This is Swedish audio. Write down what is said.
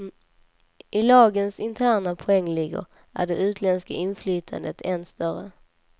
I lagens interna poängligor är det utländska inflytandet än större.